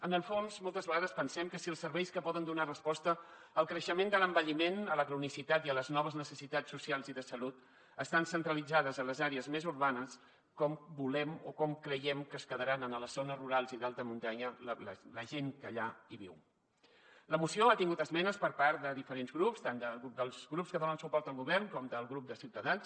en el fons moltes vegades pensem que si els serveis que poden donar resposta al creixement de l’envelliment a la cronicitat i a les noves necessitats socials i de salut estan centralitzats en les àrees més urbanes com volem o com creiem que es quedarà a les zones rurals i d’alta muntanya la gent que hi viu la moció ha tingut esmenes per part de diferents grups tant dels grups que donen suport al govern com del grup de ciutadans